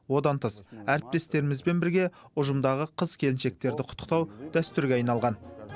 одан тыс әріптестерімізбен бірге ұжымдағы қыз келіншектерді құттықтау дәстүрге айналған